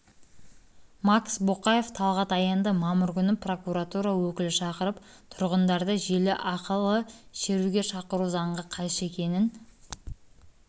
макс боқаев талғат аянды мамыр күні прокоратура өкілі шақырып тұрғындарды желі арқылышеруге шақыру заңға қайшы екенін